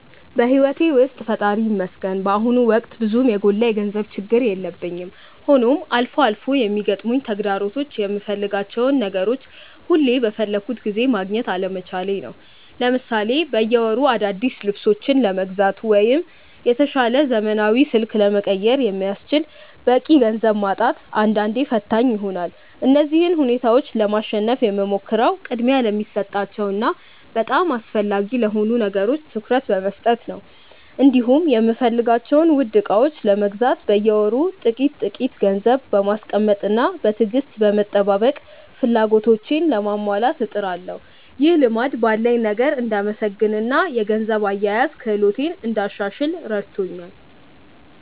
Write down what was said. በሕይወቴ ውስጥ ፈጣሪ ይመስገን በአሁኑ ወቅት ብዙም የጎላ የገንዘብ ችግር የለብኝም፤ ሆኖም አልፎ አልፎ የሚገጥሙኝ ተግዳሮቶች የምፈልጋቸውን ነገሮች ሁሉ በፈለግኩት ጊዜ ማግኘት አለመቻሌ ነው። ለምሳሌ በየወሩ አዳዲስ ልብሶችን ለመግዛት ወይም የተሻለ ዘመናዊ ስልክ ለመቀየር የሚያስችል በቂ ገንዘብ ማጣት አንዳንዴ ፈታኝ ይሆናል። እነዚህን ሁኔታዎች ለማሸነፍ የምሞክረው ቅድሚያ ለሚሰጣቸው እና በጣም አስፈላጊ ለሆኑ ነገሮች ትኩረት በመስጠት ነው፤ እንዲሁም የምፈልጋቸውን ውድ ዕቃዎች ለመግዛት በየወሩ ጥቂት ጥቂት ገንዘብ በማስቀመጥና በትዕግስት በመጠባበቅ ፍላጎቶቼን ለማሟላት እጥራለሁ። ይህ ልማድ ባለኝ ነገር እንድመሰገንና የገንዘብ አያያዝ ክህሎቴን እንዳሻሽል ረድቶኛል።